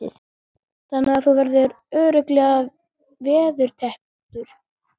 Þannig að þú verður örugglega veðurtepptur?